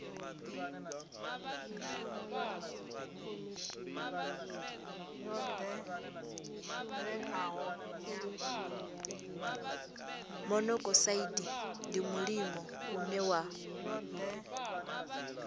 monokosaidi ndi mulimo une wa